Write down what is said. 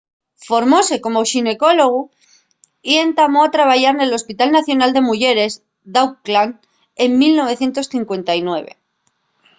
formóse como xinecólogu y entamó a trabayar nel hospital nacional de muyeres d’auckland en 1959